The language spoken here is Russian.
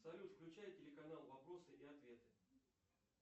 салют включай телеканал вопросы и ответы